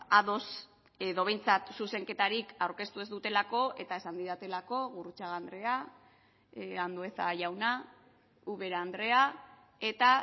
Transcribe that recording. ados edo behintzat zuzenketarik aurkeztu ez dutelako eta esan didatelako gurrutxaga andrea andueza jauna ubera andrea eta